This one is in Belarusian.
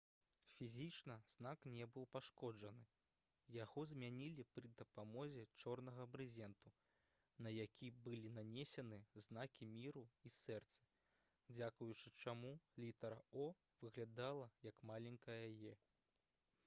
фізічна знак не быў пашкоджаны; яго змянілі пры дапамозе чорнага брызенту на які былі нанесены знакі міру і сэрцы дзякуючы чаму літара «o» выглядала як маленькая «e»